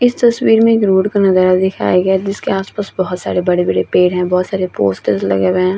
इस तस्वीर में एक रोड का नज़ारा दिखाई गए है जिसके आस-पास में बोहोत सारे बड़े-बड़े पेड़ है बोहोत सारे पोस्टर भी लगे हुए है।